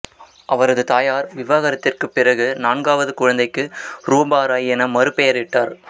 அவரது தாயார் விவாகரத்திற்குப் பிறகு நான்காவது குழந்தைக்கு ரூபா ராய் என மறுபெயரிட்டார்